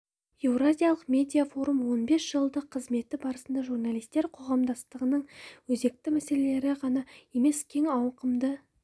еуразиялық медиа форум он бес жылдық қызметі барысында журналистер қоғамдастығының өзекті мәселелері ғана емес кең ауқымды